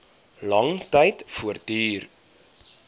lang tyd voortduur